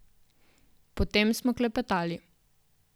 Potem smo klepetali.